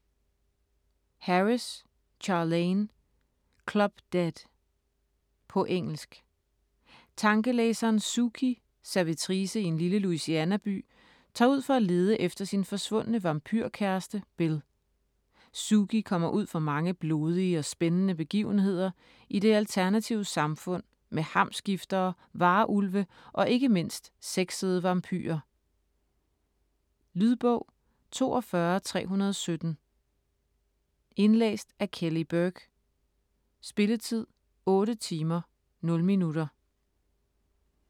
Harris, Charlaine: Club Dead På engelsk. Tankelæseren Sookie, servitrice i en lille Louisianaby, tager ud for at lede efter sin forsvundne vampyrkæreste, Bill. Sookie kommer ud for mange blodige og spændende begivenheder i det alternative samfund med hamskiftere, varulve og ikke mindst sexede vampyrer. Lydbog 42317 Indlæst af Kelly Burke Spilletid: 8 timer, 0 minutter.